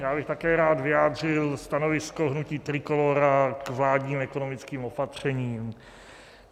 Já bych také rád vyjádřil stanovisko hnutí Trikolóra k vládním ekonomickým opatřením.